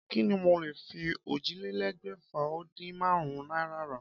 Kí ni mo lè fi ójìlélégbèfà-o-din-márún-ún náírà rà?